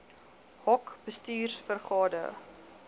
hoc bestuurs vergade